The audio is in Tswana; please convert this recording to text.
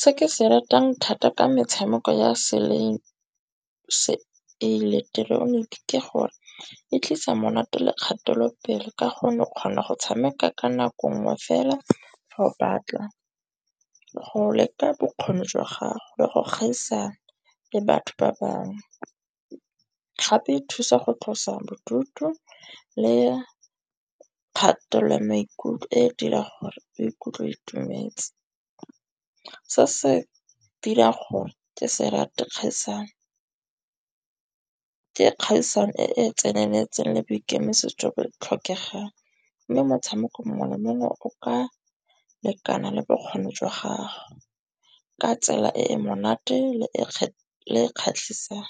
Se ke se ratang thata ka metshameko ya seileketeroniki ke gore e tlisa monate le kgatelopele. Ka gonne o kgona go tshameka ka nako ngwe fela fa o batla go leka bokgoni jwa gago le go kgaisano le batho ba bangwe. Gape e thusa go tlosa bodutu le kgatelelo ya maikutlo e dirang gore o ikutlwe o itumetse. Se se dirang gore ke se rate kgaisano. Ke kgaisano e e tseneletseng le boikemisetso bo tlhokegang. Mme motshameko mongwe le mongwe o ka lekana le bokgoni jwa gago. Ka tsela e e monate le e le e kgatlhisang,